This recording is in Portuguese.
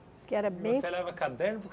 Que era bem E você leva caderno por